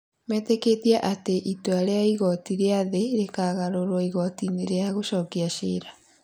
metĩkĩtie atĩ itua rĩa igooti rĩa thĩ rĩkagarũrũo igooti-inĩ rĩa gũcokia ciira.